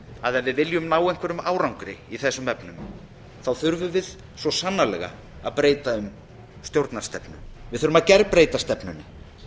að ef við viljum ná einhverjum árangri í þessum efnum þá þurfum við svo sannarlega að breyta um stjórnarstefnu við þurfum að gerbreyta stefnunni